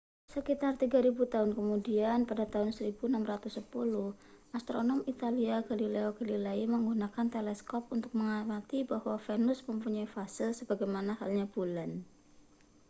sekitar tiga ribu tahun kemudian pada tahun 1610 astronom italia galileo galilei menggunakan teleskop untuk mengamati bahwa venus mempunyai fase sebagaimana halnya bulan